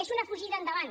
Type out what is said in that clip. és una fugida endavant